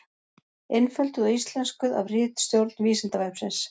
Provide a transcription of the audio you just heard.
Einfölduð og íslenskuð af ritstjórn Vísindavefsins.